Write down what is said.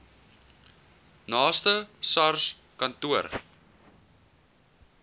naaste sars kantoor